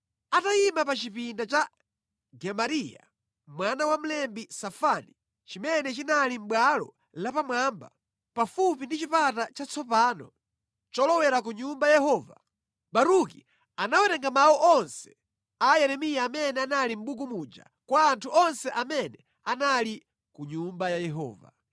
Atayima pa chipinda cha Gemariya mwana wa mlembi Safani, chimene chinali mʼbwalo lapamwamba, pafupi ndi Chipata Chatsopano cholowera ku Nyumba ya Yehova, Baruki anawerenga mawu onse a Yeremiya amene anali mʼbuku muja kwa anthu onse amene anali ku Nyumba ya Yehova.